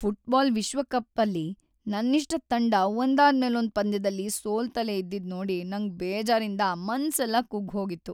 Football ವಿಶ್ವಕಪ್ಪಲ್ಲಿ ನನ್ನಿಷ್ಟದ್ ತಂಡ ಒಂದಾದ್ಮೇಲೊಂದ್‌ ಪಂದ್ಯದಲ್ಲಿ ಸೋಲ್ತಲೇ ಇದ್ದಿದ್‌ ನೋಡಿ ನಂಗ್‌ ಬೇಜಾರಿಂದ ಮನ್ಸೆಲ್ಲ ಕುಗ್ಗ್‌ ಹೋಗಿತ್ತು.